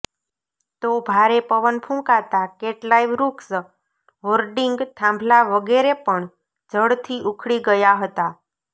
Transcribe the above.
તો ભારે પવન ફૂંકાતા કેટલાંય વૃક્ષ હોર્ડિંગ થાંભલા વગેરે પણ જડથી ઉખડી ગયા હતા